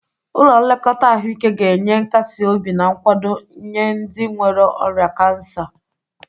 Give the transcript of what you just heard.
Ụlọ nlekọta ahụike ga-enye nkasi obi na nkwado nye ndị nwere ọrịa kansa.